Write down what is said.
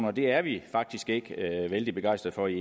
og det er vi faktisk ikke vældig begejstrede